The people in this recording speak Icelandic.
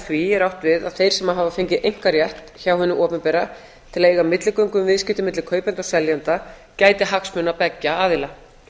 því er átt við að þeir sem hafa fengið einkarétt hjá hinu opinbera til að eiga milligöngu um viðskipti milli kaupenda og seljenda gæti hagsmuna beggja aðila